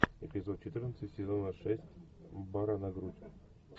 эпизод четырнадцать сезона шесть бара на грудь